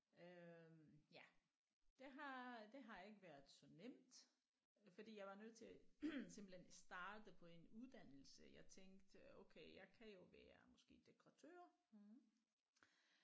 Øh ja det har det har ikke været så nemt fordi jeg var nødt til simpelthen starte på en uddannelse jeg tænkte okay jeg kan jo være måske dekoratør